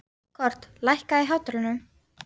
Kort, lækkaðu í hátalaranum.